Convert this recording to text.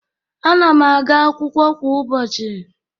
Ana'm aga akwụkwọ kwa ụbọchị